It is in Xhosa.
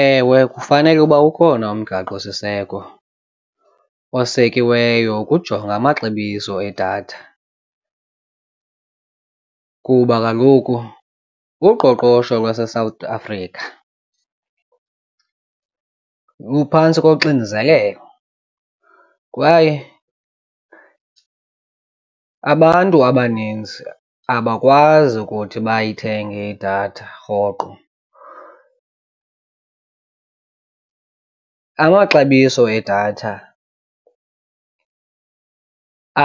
Ewe, kufanele uba ukhona umgaqosiseko osekiweyo ukujonga amaxabiso edatha kuba kaloku uqoqosho lwaseSouth Africa luphantsi koxinzelelo kwaye abantu abaninzi abakwazi ukuthi bayithenge idatha rhoqo. Amaxabiso edatha